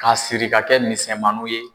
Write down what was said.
Ka siri ka kɛ misɛnmanin ye